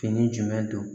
Fini jumɛn don